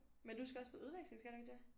Men du skal også på udveksling skal du ikke det?